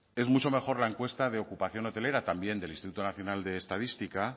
es mucho mejor la encuesta de ocupación hotelera también del instituto nacional de estadística